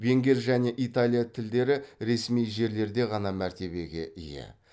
венгер және италья тілдері ресми жерлерде ғана мәртебеге ие